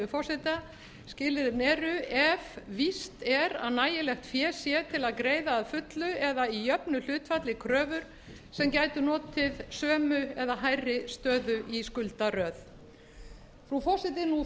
forseta skilyrðin eru ef víst er að nægilegt fé sé til að greiða að fullu eða í jöfnu hlutfalli kröfur sem gætu notið sömu eða hærri stöðu í skuldaröð frú forseti nú